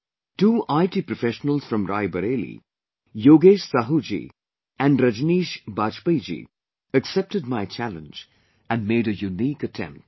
Two IT Professionals from Rae Bareilly Yogesh Sahu ji and Rajneesh Bajpayee ji accepted my challenge and made a unique attempt